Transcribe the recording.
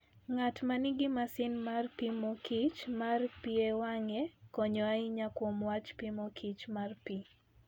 Ng'at ma nigi masin mar pimo kichr mar pi e wang'e, konyo ahinya kuom wach pimo kichr mar pi.